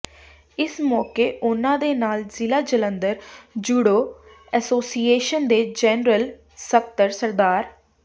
ਇਸ ਮੌਕੇ ਉਨ੍ਹਾਂ ਦੇ ਨਾਲ ਜ਼ਿਲ੍ਹਾ ਜਲੰਧਰ ਜੂਡੋ ਐਸੋਸੀਏਸ਼ਨ ਦੇ ਜਨਰਲ ਸਕੱਤਰ ਸ